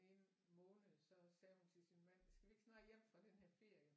Ene måned så sagde hun til sin mand skal vi ikke snart hjem fra den her ferie